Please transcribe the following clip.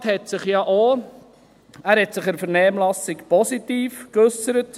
Der Regierungsrat hat sich ja auch in der Vernehmlassung positiv zum RPG geäussert.